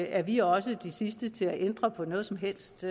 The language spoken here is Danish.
er vi også de sidste til at ændre på noget som helst